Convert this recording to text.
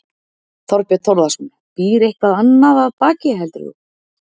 Þorbjörn Þórðarson: Býr eitthvað annað baki heldur þú?